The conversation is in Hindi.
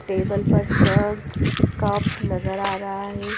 टेबल पर जग कप नजर आ रहा है।